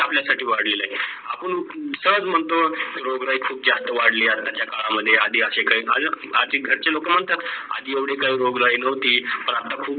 आपल्या साठी किती वाढलेलं आहेत. आपण सहस महतो ग्लोबल वार्मिंग खूप जास्त वाढलेलं आहोत आताचे कडा मध्ये आदि अशे काही आदी घरचे लोक म्हणता आदी येवडी ग्लोबल वार्मिंग नव्हतं पण आता खूप